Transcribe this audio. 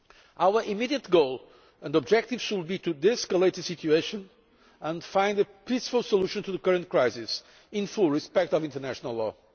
Our immediate goal and objective should be to de escalate the situation and find a peaceful solution to the current crisis, in full respect of international law.